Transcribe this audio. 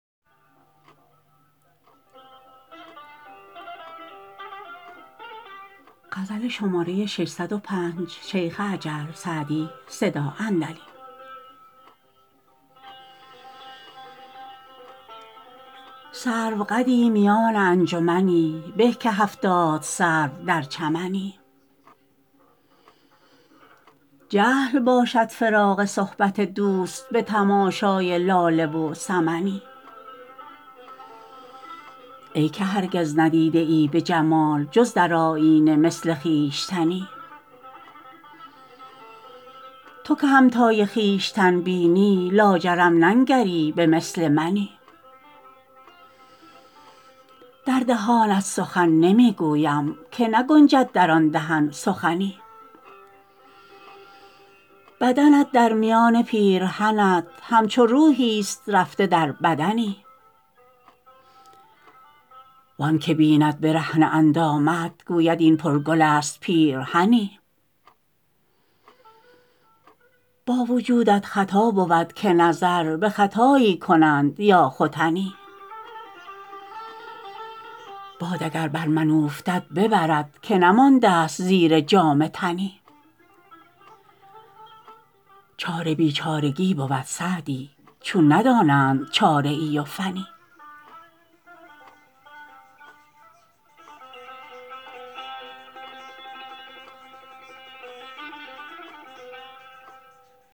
سروقدی میان انجمنی به که هفتاد سرو در چمنی جهل باشد فراق صحبت دوست به تماشای لاله و سمنی ای که هرگز ندیده ای به جمال جز در آیینه مثل خویشتنی تو که همتای خویشتن بینی لاجرم ننگری به مثل منی در دهانت سخن نمی گویم که نگنجد در آن دهن سخنی بدنت در میان پیرهنت همچو روحیست رفته در بدنی وآن که بیند برهنه اندامت گوید این پرگل است پیرهنی با وجودت خطا بود که نظر به ختایی کنند یا ختنی باد اگر بر من اوفتد ببرد که نمانده ست زیر جامه تنی چاره بیچارگی بود سعدی چون ندانند چاره ای و فنی